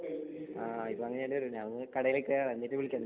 ആഹ് അങ്ങനെ ചെയ്യേണ്ടിവരും ഇപ്പം കടയിൽ കേറാം എന്നിട്ട് വിളിക്കാം നിന്നെ